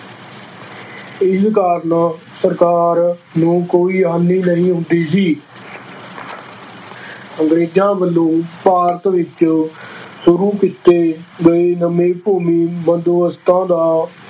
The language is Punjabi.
ਇਸ ਕਾਰਨ ਸਰਕਾਰ ਨੂੰ ਕੋਈ ਹਾਨੀ ਨਹੀਂ ਹੁੰਦੀ ਸੀ ਅੰਗਰੇਜ਼ਾਂ ਵੱਲੋਂ ਭਾਰਤ ਵਿੱਚ ਸ਼ੁਰੂ ਕੀਤੇ ਗਏ ਨਵੇਂ ਭੂਮੀ ਬੰਦੋਬਸਤਾਂ ਦਾ